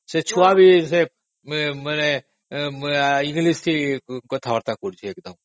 ସେ ଛୁଆ ବି ଆଜିକାଲି ଇଂଲିଶ କଥାବାର୍ତା ହଉଛନ୍ତି